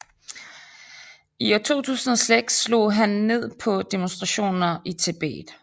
I 2006 slog han ned på demonstrationer i Tibet